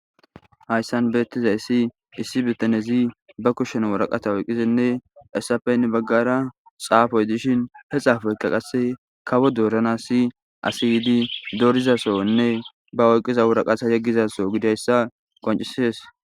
hayssan beettiza issi issi bitanezi ba kushshen wuraqata woyqqizenne essapenni baggara xaafoy dishin he xaafoyka qasse kawo doorana si asiydi dorizasonne ba oyqqiza wuraqaha yeggizaso gidayssa qoncisees